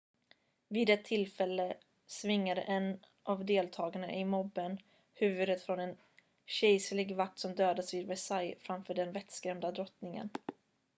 vid ett tillfälle svingade en av deltagarna i mobben huvudet från en kejserlig vakt som dödats vid versailles framför den vettskrämda drottningen